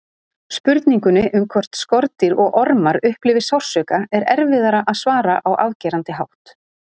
Spurningunni um hvort skordýr og ormar upplifi sársauka er erfiðara að svara á afgerandi hátt.